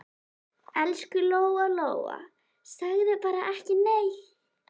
Elsku Lóa-Lóa, segðu bara ekki neitt.